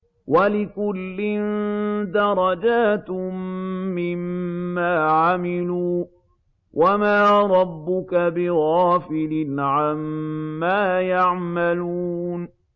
وَلِكُلٍّ دَرَجَاتٌ مِّمَّا عَمِلُوا ۚ وَمَا رَبُّكَ بِغَافِلٍ عَمَّا يَعْمَلُونَ